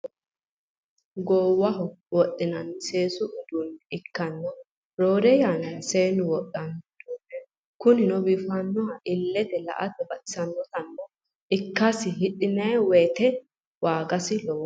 Gowwaho wodhinanni seesu uduune ikkana roore yannara seennu wodhanno udunneti kunnino biifanohana ilette la'atte baxxisanota ikkasenni hidhinani wooyite waaggise lowwoho